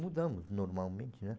Mudamos normalmente, né?